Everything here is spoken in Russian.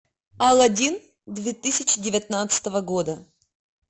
алладин две тысячи девятнадцатого года